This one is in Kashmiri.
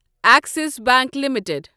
Axis Bank limited